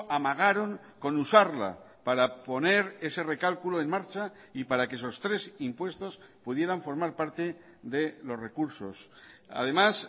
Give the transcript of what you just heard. amagaron con usarla para poner ese recálculo en marcha y para que esos tres impuestos pudieran formar parte de los recursos además